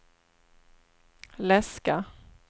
läska